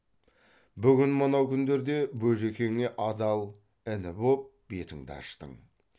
бүгін мынау күндерде бөжікеңе адал іні боп бетіңді аштың